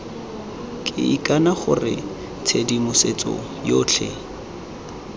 ke ikana gore tshedimosetso yotlhe